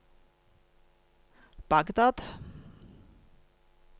Bagdad